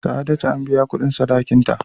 Sa'adatu an biya kudin sadakin ta.